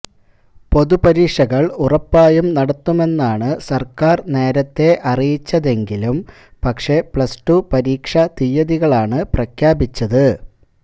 പൊതുപരീക്ഷകൾ ഉറപ്പായും നടത്തുമെന്നാണ് സർക്കാർ നേരത്തേ അറിയിച്ചതെങ്കിലും പക്ഷേ പ്ലസ്ടു പരീക്ഷാത്തീയതികളാണ് പ്രഖ്യാപിച്ചത്